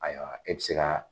Ayiwa e bɛ se ka